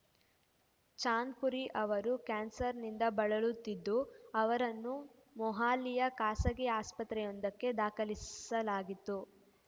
ಚಾಂದ್‌ಪುರಿ ಅವರು ಕ್ಯಾನ್ಸರ್‌ನಿಂದ ಬಳಲುತ್ತಿದ್ದು ಅವರನ್ನು ಮೊಹಾಲಿಯ ಖಾಸಗಿ ಆಸ್ಪತ್ರೆಯೊಂದಕ್ಕೆ ದಾಖಲಿಸಲಾಗಿತ್ತು